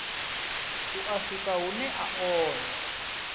u a swikahune a onda